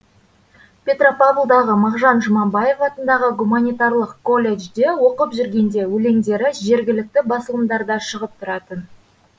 петропавлдағы мағжан жұмабаев атындағы гуманитарлық колледжде оқып жүргенде өлеңдері жергілікті басылымдарда шығып тұратын